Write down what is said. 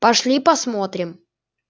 пошли посмотрим